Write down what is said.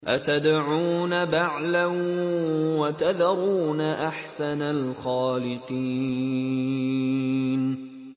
أَتَدْعُونَ بَعْلًا وَتَذَرُونَ أَحْسَنَ الْخَالِقِينَ